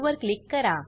वर क्लिक करा